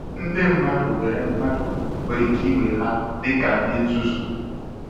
Ndị mmadụ were mmadụ were ike iwee ha dịka ndị nzuzu.